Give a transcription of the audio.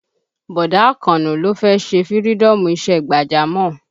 Bọ̀dá Àkànó ló fẹ́ ṣe fïrídọ́ọ̀mù isẹ́ gbàjámọ̀